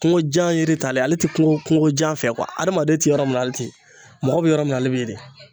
Kungojan yiri t'ale ye, ale tɛ kungo kungojan fɛ adamaden tɛ yɔrɔ min na ale te yen. Mɔgɔ bɛ yɔrɔ min na ale bɛ yen de .